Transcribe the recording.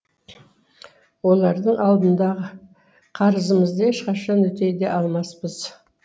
олардың алдындағы қарызымызды ешқашан өтей де алмаспыз